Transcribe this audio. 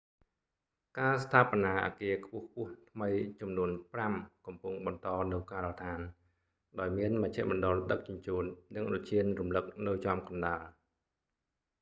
ការស្ថាបនាអគារខ្ពស់ៗថ្មីចំនួនប្រាំកំពុងបន្តនៅការដ្ឋាន ដោយមានមជ្ឈមណ្ឌលដឹកជញ្ជូន និងឧទ្យានរំលឹកនៅចំកណ្តាល